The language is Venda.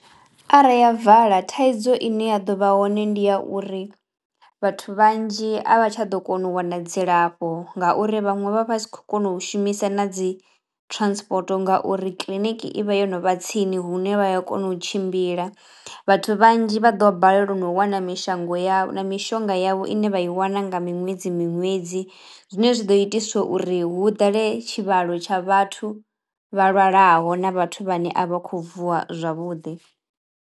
Arali ya vala thaidzo ine ya ḓo vha hone ndi ya uri vhathu vhanzhi a vha tsha ḓo kono u wana dzilafho ngauri vhaṅwe vha vha tshi khou kona u shumisa na dzi transport ngauri kiḽiniki i vha yo no vha tsini hune vha ya kona u tshimbila. Vhathu vhanzhi vha ḓo balelwa no wana mishango ya na mishonga yavho ine vha i wana nga miṅwedzi miṅwedzi zwine zwi ḓo itiswa uri hu ḓale tshivhalo tsha vhathu vha lwalaho na vhathu vhane a vha khou vuwa zwavhuḓi.